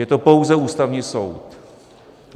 Je to pouze Ústavní soud.